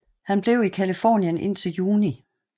Han blev i Californien indtil juni